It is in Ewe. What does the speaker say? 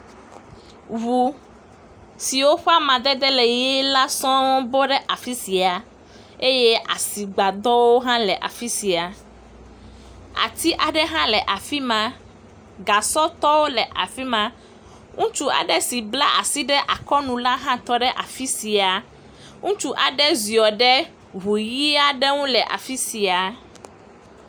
Ŋu siwo ƒe amadede le ʋi la sɔŋ bɔ ɖe afi sia eye asigbadɔwo hã le afi sia. Ati aɖe hã le afi ma. Gasɔtɔwo le afi ma. Ŋutsu aɖe si bla asi ɖe akɔnu la hã tɔ ɖe afi sia. Ŋutsu aɖe ziɔ ɖe ŋu ʋi aɖe ŋu le afi sia.